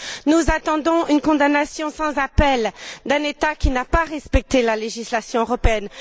Nous attendons une condamnation sans appel d'un État qui n'a pas respecté la législation européenne.